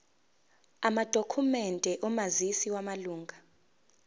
amadokhumende omazisi wamalunga